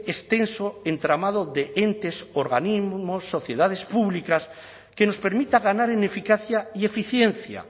extenso entramado de entes organismos sociedades públicas que nos permita ganar en eficacia y eficiencia